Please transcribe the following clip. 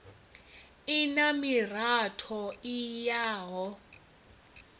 i na miratho i yaho